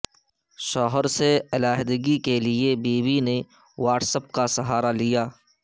شوہر سے علیحدگی کیلئے بیوی نے واٹس ایپ کا سہارا لیا